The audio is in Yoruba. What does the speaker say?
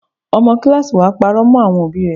Ọmọ kíláàsì wa parọ́ mọ́ àwọn òbí rẹ.